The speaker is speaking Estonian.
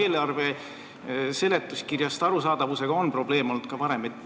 Eelarve seletuskirjast arusaamisega on ka varem probleeme olnud.